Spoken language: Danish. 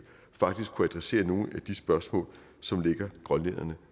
faktisk kunne adressere nogle af de spørgsmål som ligger grønlænderne